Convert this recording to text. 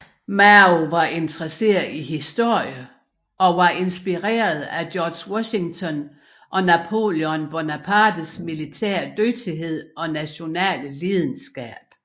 Mao var interesseret i historie og var inspireret af George Washington og Napoleon Bonapartes militære dygtighed og nationale lidenskab